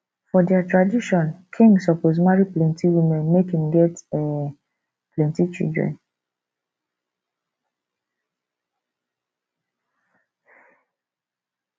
for their tradition king suppose marry plenty women make im get um plenty children